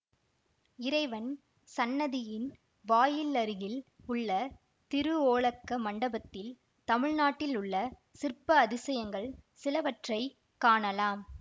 இறைவன் சந்நிதியின் வாயிலருகில் உள்ள திருஓலக்க மண்டபத்தில் தமிழ்நாட்டில் உள்ள சிற்ப அதிசயங்கள் சிலவற்றைக் காணலாம்